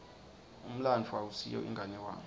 umlandvo awusiyo inganekwane